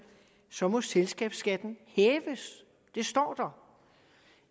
så må selskabsskatten hæves det står der